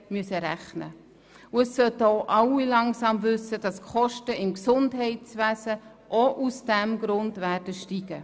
Nun sollten auch alle langsam wissen, dass die Kosten im Gesundheitswesen mitunter aus diesem Grund steigen werden.